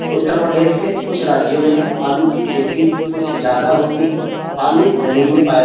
उत्तर प्रदेश के कुछ राज्यों में आलू की खेती कुछ ज्यादा होती है आलू जमीन में पाया --